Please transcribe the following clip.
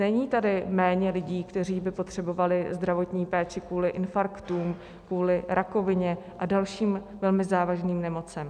Není tady méně lidí, kteří by potřebovali zdravotní péči kvůli infarktům, kvůli rakovině a dalším velmi závažným nemocem.